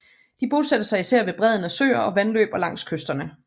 De bosatte sig især ved bredden af søer og vandløb og langs kysterne